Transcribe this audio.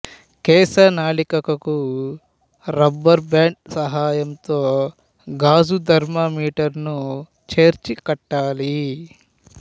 కేశనాళికకు rubber band సహాయంతో గాజు థర్మామీటరును చేర్చి కట్టాలి